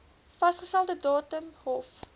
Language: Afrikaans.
vasgestelde datum hof